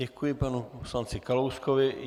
Děkuji panu poslanci Kalouskovi.